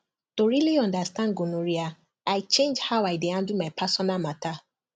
to really understand gonorrhea i change how i dey handle my personal matter